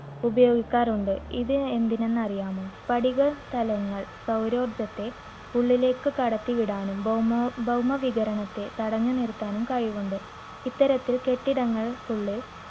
ഉപയോഗിക്കാറുണ്ട്. ഇത് എന്തിനെന്ന് അറിയാമോ? സ്പടിക സ്ഥലങ്ങൾ സൌരോർജ്ജത്തെ ഉള്ളിലേക്ക് കടത്തിവിടാനും ഭൌമോ ~ ഭൗമവികിരണത്തെ തടഞ്ഞു നിർത്താനും കഴിവുണ്ട്. ഇത്തരത്തിൽ കെട്ടിടങ്ങൾക്കുള്ളിൽ